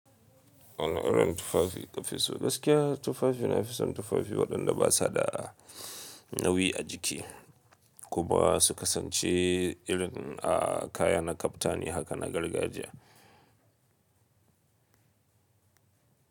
Wanni irin tufafi kafiso gaskiya tufafi na fisan tufafi waɗanda ba su da a nauyi a jiki kuma su kasance irin a kayana kaftani haka na gargajiya.